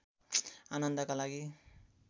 आनन्दका लागि